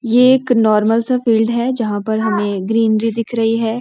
ये एक नार्मल सा फील्ड है जहाँ पर हमे ग्रीनरी दिख रही है।